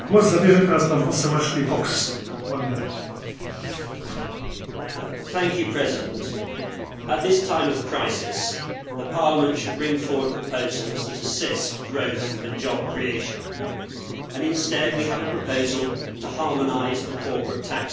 Mr President, at this time of crisis Parliament should bring forward proposals that assist growth and job creation, and instead we have a proposal to harmonise the corporate tax base.